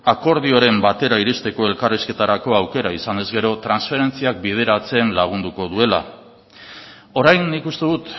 akordioaren batera iristeko elkarrizketarako aukera izanez gero transferentziak bideratzen lagunduko duela orain nik uste dut